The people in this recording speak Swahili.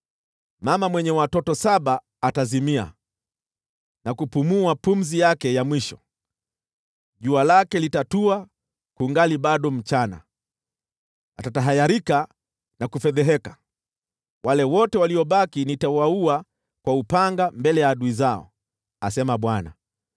Mama mwenye watoto saba atazimia na kupumua pumzi yake ya mwisho. Jua lake litatua kungali bado mchana, atatahayarika na kufedheheka. Wale wote waliobaki nitawaua kwa upanga mbele ya adui zao,” asema Bwana .